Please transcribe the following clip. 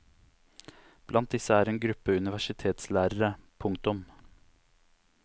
Blant disse er en gruppe universitetslærere. punktum